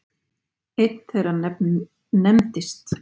Einn þeirra nefndist